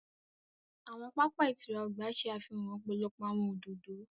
Awọn papa ìtura ọgba ṣe àfihàn ọpọlọpọ awọn òdodo.